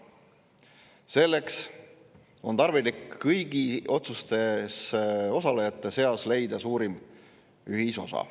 Selleks on tarvilik leida kõigi otsustamises osalejate seas suurim ühisosa.